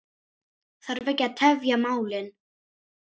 Þarf ekki að tefja málin.